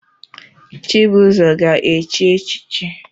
Chibuzor ga-echi echichi